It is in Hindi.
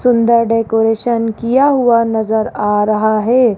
सुंदर डेकोरेशन किया हुआ नजर आ रहा है।